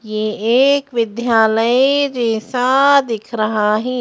ये एक विद्यालय जैसा दिख रहा है।